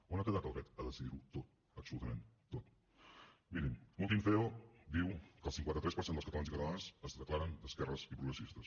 on ha quedat el dret a decidir ho tot absolutament tot mirin l’últim ceo diu que el cinquanta tres per cent dels catalans i catalanes es declaren d’esquerres i progressistes